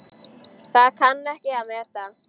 Það kann ég að meta.